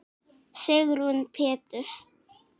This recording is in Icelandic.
Sigrún Péturs.